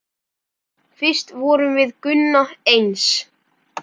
Fyrst vorum við Gunna eins.